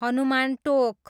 Hanuman Tonk